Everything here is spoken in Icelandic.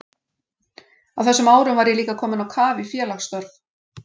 Á þessum árum var ég líka kominn á kaf í félagsstörf.